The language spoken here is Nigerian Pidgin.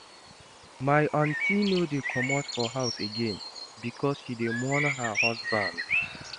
My aunty no dey comot her house again because she dey mourn her husband.